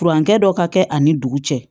Furankɛ dɔ ka kɛ ani dugu cɛ